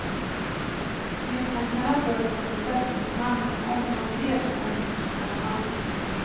Misstankarna föll på en besättningsman som omgående erkände att spriten var hans.